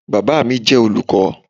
Baba mi jẹ olukọ